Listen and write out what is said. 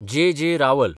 जे. J. रावल